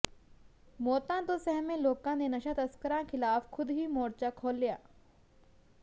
ਮੌਤਾਂ ਤੋਂ ਸਹਿਮੇ ਲੋਕਾਂ ਨੇ ਨਸ਼ਾਂ ਤਸਕਰਾਂ ਖਿਲਾਫ਼ ਖੁੱਦ ਹੀ ਮੋਰਚਾ ਖੋਲ੍ਹਿਆ